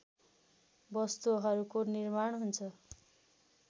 वस्तुहरूको निर्माण हुन्छ